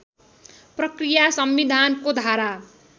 प्रक्रिया संविधानको धारा